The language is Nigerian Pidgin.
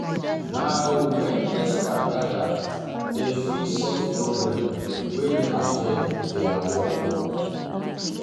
Na Na wen experts gather, dem fit solve problems wey dey affect their work.